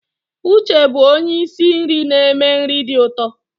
Uche bụ onye isi nri na-eme nri dị ụtọ.